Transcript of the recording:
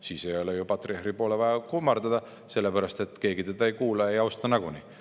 Siis ei ole ju vaja patriarhi poole kummardada, sest keegi teda ei kuula ega austa nagunii.